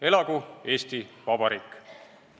Elagu Eesti Vabariik!